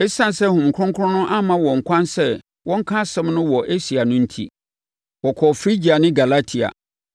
Esiane sɛ Honhom Kronkron amma wɔn ɛkwan sɛ wɔnka asɛm no wɔ Asia no enti, wɔkɔɔ Frigia ne Galatia.